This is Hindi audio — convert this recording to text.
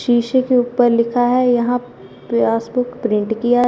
शीशे के ऊपर लिखा है यहां पासबुक प्रिंट किया--